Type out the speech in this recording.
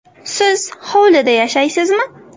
Siz hovlida yashaysizmi?